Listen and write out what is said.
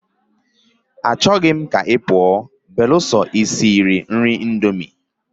Achoro m ka ipuo beruso isiri nri indomie.